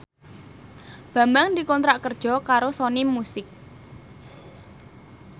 Bambang dikontrak kerja karo Sony Music